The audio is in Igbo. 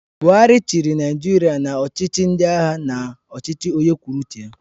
Buhari chịrị Naijiria na ọchịchị ndị agha na ọchịchị onye kwụrụ uche ya.